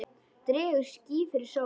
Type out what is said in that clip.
Dregur ský fyrir sólu!